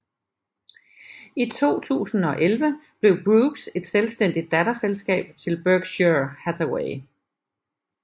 I 2011 blev Brooks et selvstændigt datterselskab til Berkshire Hathaway